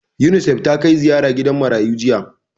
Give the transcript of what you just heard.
Unisef ta kai ziyara gidan marayu jiya